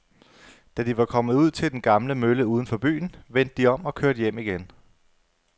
Da de var kommet ud til den gamle mølle uden for byen, vendte de om og kørte hjem igen.